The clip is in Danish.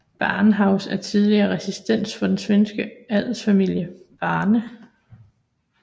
Brahehus er tidligere residens for den svenske adelsfamilie Brahe